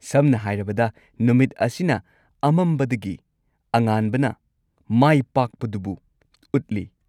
ꯁꯝꯅ ꯍꯥꯏꯔꯕꯗ, ꯅꯨꯃꯤꯠ ꯑꯁꯤꯅ ꯑꯃꯝꯕꯗꯒꯤ ꯑꯉꯥꯟꯕꯅ ꯃꯥꯏꯄꯥꯛꯄꯗꯨꯕꯨ ꯎꯠꯂꯤ꯫